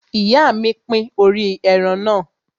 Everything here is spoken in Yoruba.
Ìyá mi pín orí ẹran náà.